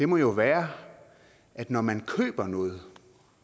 må jo være at når man køber noget